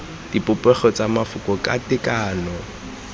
dipopego tsa mafoko ka tekano